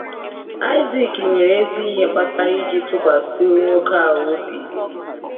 Aịzak nwere ezi ihe kpatara iji tụkwasị nwoke a obi.